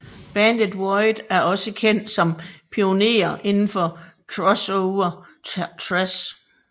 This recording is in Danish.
Bandet Void er også kendt som pionere indenfor crossover thrash